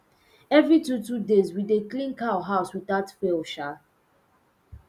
every two two days we dey clean cow house without fail um